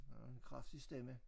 Har en kraftig stemme